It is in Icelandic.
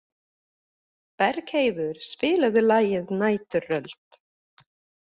Bergheiður, spilaðu lagið „Næturrölt“.